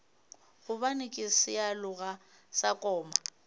gobane ke sealoga sa koma